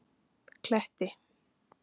Kletti